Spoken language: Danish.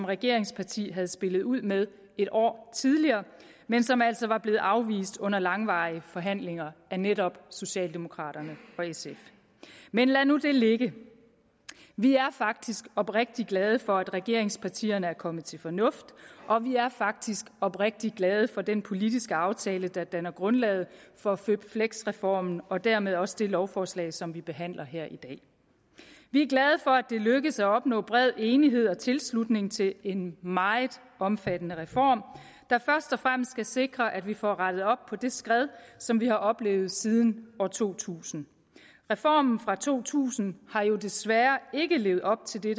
regeringsparti havde spillet ud med et år tidligere men som altså var blevet afvist under langvarige forhandlinger af netop socialdemokraterne og sf men lad nu det ligge vi er faktisk oprigtig glade for at regeringspartierne er kommet til fornuft og vi er faktisk oprigtig glade for den politiske aftale der danner grundlag for føpfleks reformen og dermed også det lovforslag som vi behandler her i dag vi er glade for det er lykkedes at opnå bred enighed om og tilslutning til en meget omfattende reform der først og fremmest skal sikre at vi får rettet op på det skred som vi har oplevet siden to tusind reformen fra to tusind har jo desværre ikke levet op til det